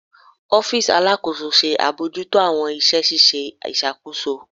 Ọfiisi Alakoso ṣe abojuto awọn iṣẹ ṣiṣe iṣakoso